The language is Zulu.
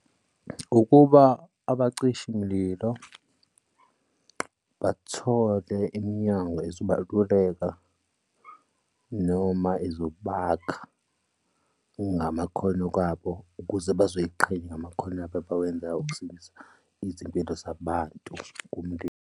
Ukuba abacishi mlilo bathole iminyango ezobaluleka noma ezokwakha ngamakhono abo ukuze bazoziqhenya ngamakhono abo abawenzayo ukudindisa izimpilo zabantu kumlimi.